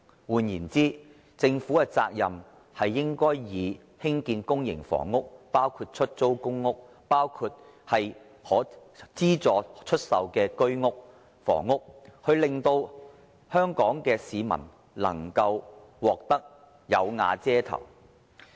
換言之，政府的責任應該是以興建公營房屋，包括出租公屋、資助房屋、居屋為主，令香港市民能夠"有瓦遮頭"。